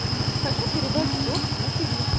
хочу передачу дождь на тв